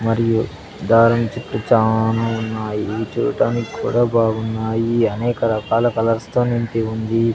మరియు దారం చుట్టూ చానా ఉన్నాయి చూడటానికి కూడా బాగున్నాయి అనేక రకాల కలర్స్ తో నింపి ఉంది.